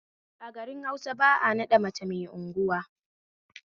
A garin Hausa ba'a naɗa mace mai unguwa